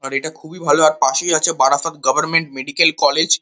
আর এটা খুবই ভালো আর পাশেই আছে বারাসাত গভর্নমেন্ট মেডিকেল কলেজ ।